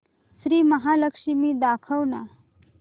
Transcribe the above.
श्री महालक्ष्मी दाखव ना